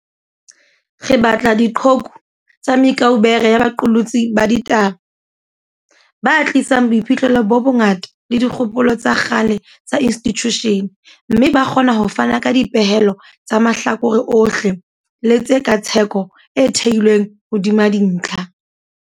Re batla diqhoku tsa me kaubere ya baqolotsi ba di taba, ba tlisang boiphihlelo bo bongata le dikgopolo tsa kgale tsa institjushene, mme ba kgona ho fana ka dipehelo tsa mahlakore ohle le tshe katsheko e theilweng hodima dintlha.